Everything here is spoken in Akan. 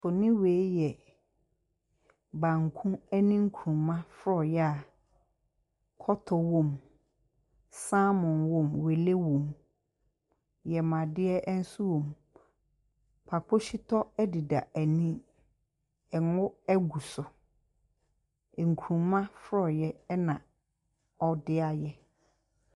Mfonin wei yɛ banku ne nkuruma forɔeɛ a kɔtɔ wɔ mu. Salmon wɔ mu, wele wɔ mu, yamuadeɛ nso wɔ mu, Kpakpo shito deda ani. Ngo gu so. Nkuruma forɔeɛ na wɔde ayɛ.